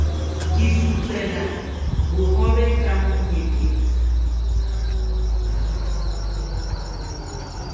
ke futswela bohobe ka menyepetsi